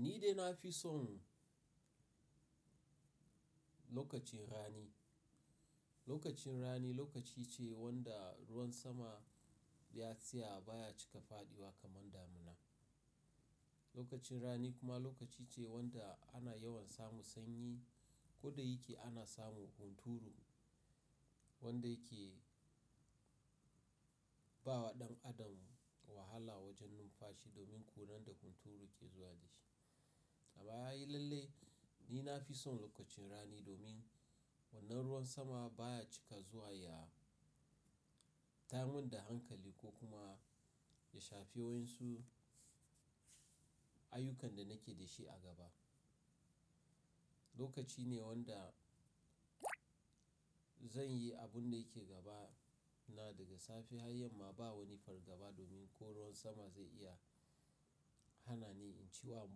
Ni dai na fi son lokacin rani. Lokacin rani lokaci ce wanda ruwan sama ya tsaya baya cika faɗiwa kamar damina. Lokacin rani kuma lokaci ce wanda ana yawan samu sanyi ko da yake ana samu hunturu wanda yake bawa ɗan adam wahala wajen numfashi domin kuran da hunturu ke zuwa da shi. Amma a yi lalle ni na fi son lokacin rani domin wannan ruwan sama baya cika zuwa ya ta min da hankali ko kuma ya shafi wayun su ayyukan da nake da shi a gaba. Lokaci ne wanda zan yi abun da yake gaba na daga safe har yamma ba wani fargaba domin ko ruwan sama zai iya hana ni in ci wa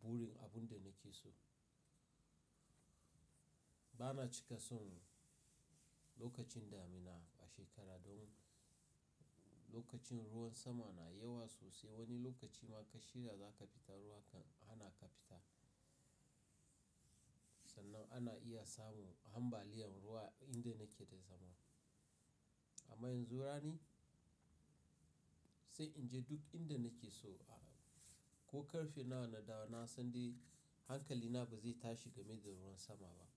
burin abun da nake so. Bana cika son lokacin damina a shekara don lokacin ruwan sama na yawa sosai. Wani lokaci ma ka shirya za ka fita ruwa kan hana ka fita. Sannan ana iya samu ambaliyan ruwa inda nake da zama. Amma yanzu rani sai in je duk inda nake so ko ƙarfe nawa na dawo na san dai hankali na ba zai tashi game da ruwan sama ba.